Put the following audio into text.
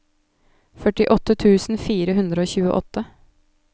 førtiåtte tusen fire hundre og tjueåtte